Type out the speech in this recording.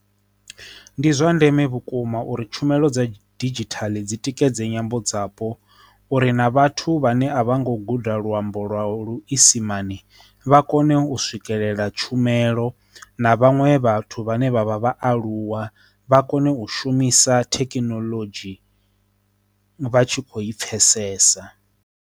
Ndi zwa ndeme vhukuma uri tshumelo dza didzhithala dzi tikedze nyambo dzapo uri na vhathu vhane a vha ngo guda luambo lwavho luisimane vha kone u swikelela tshumelo na vhaṅwe vhathu vhane vha vha vhaaluwa vha kone u shumisa thekinoḽodzhi vha tshi kho i pfhesesa.